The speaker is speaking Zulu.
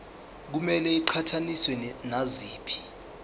kumele iqhathaniswe naziphi